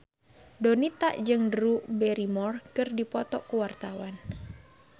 Donita jeung Drew Barrymore keur dipoto ku wartawan